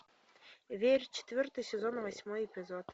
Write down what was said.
верь четвертый сезон восьмой эпизод